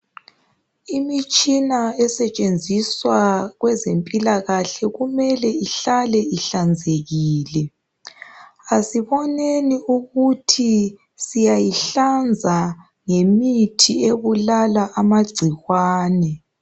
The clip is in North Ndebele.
Imitshina esetshenziswa kwezempilakahle kumele ihlale ihlanzekile. Asiboneni ukuthi siyayihlanza ngemithi ebulala amagcikwane.